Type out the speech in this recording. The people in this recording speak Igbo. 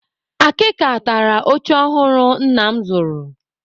Akịka tara oche ọhụrụ nna m zụrụ.